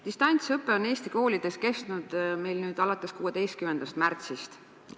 Distantsõpe on Eesti koolides kestnud meil nüüd alates 16. märtsist.